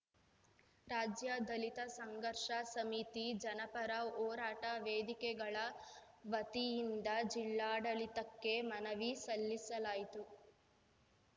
ರಾಜ್ಯ ದಲಿತ ಸಂಘರ್ಷ ಸಮಿತಿ ಜನಪರ ಹೋರಾಟ ವೇದಿಕೆಗಳ ವತಿಯಿಂದ ಜಿಲ್ಲಾಡಳಿತಕ್ಕೆ ಮನವಿ ಸಲ್ಲಿಸಲಾಯಿತು